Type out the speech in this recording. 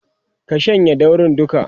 ka shanye daurin duka!